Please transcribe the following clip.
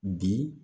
Bi